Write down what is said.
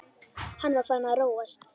Hann var farinn að róast.